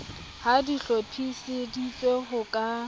ha di hlophiseditswe ho ka